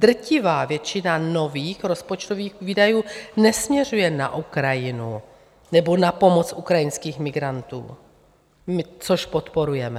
Drtivá většina nových rozpočtových výdajů nesměřuje na Ukrajinu nebo na pomoc ukrajinským migrantům, což podporujeme.